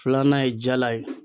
Filanan ye jala ye.